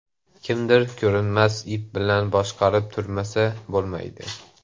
Kimdir ko‘rinmas ip bilan boshqarib turmasa, bo‘lmaydi.